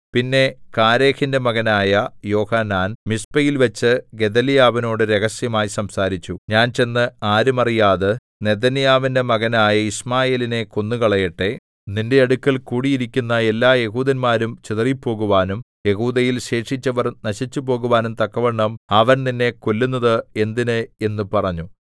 പിന്നെ കാരേഹിന്റെ മകനായ യോഹാനാൻ മിസ്പയിൽവച്ച് ഗെദല്യാവിനോട് രഹസ്യമായി സംസാരിച്ചു ഞാൻ ചെന്ന് ആരും അറിയാതെ നെഥന്യാവിന്റെ മകനായ യിശ്മായേലിനെ കൊന്നുകളയട്ടെ നിന്റെ അടുക്കൽ കൂടിയിരിക്കുന്ന എല്ലാ യെഹൂദന്മാരും ചിതറിപ്പോകുവാനും യെഹൂദയിൽ ശേഷിച്ചവർ നശിച്ചുപോകുവാനും തക്കവണ്ണം അവൻ നിന്നെ കൊല്ലുന്നത് എന്തിന് എന്ന് പറഞ്ഞു